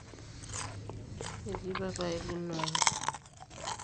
etii papai lino ang